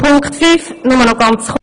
Zu Punkt fünf…